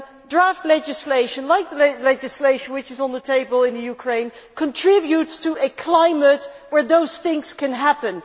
Draft legislation like the legislation which is on the table in Ukraine contributes to a climate where those things can happen.